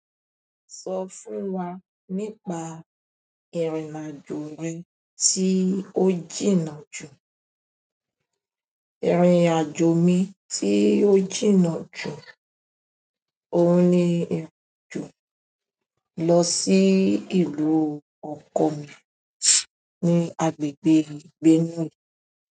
Sọ fún wa nípa ìrìn-àjò rẹ tí ó jìnnà jù. Ìrìn-àjò mi tí ó jìnnà jù òhun ní ìrìn-àjò lọ sí ìlú ọkọ mi ní agbègbè Benue.